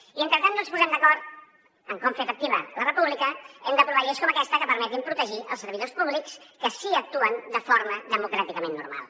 i mentre no ens posem d’acord en com fer efectiva la república hem d’aprovar lleis com aquesta que permetin protegir els servidors públics que sí que actuen de forma democràticament normal